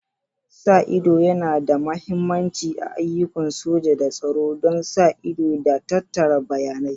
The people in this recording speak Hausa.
Sa ido yana da mahimmanci a ayyukan soja da tsaro don sa ido da tattara bayanai.